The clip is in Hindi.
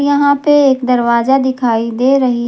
यहां पे एक दरवाजा दिखाई दे रही है।